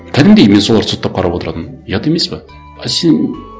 кәдімгідей мен соларды соттап қарап отыратынмын ұят емес пе а сен